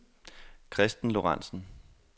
Christen Lorentzen